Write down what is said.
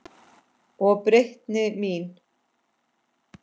Og breytni mín.